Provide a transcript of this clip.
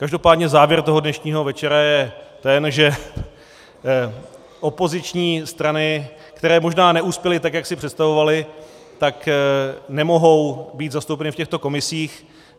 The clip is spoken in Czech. Každopádně závěr toho dnešního večera je ten, že opoziční strany, které možná neuspěly tak, jak si představovaly, tak nemohou být zastoupeny v těchto komisích.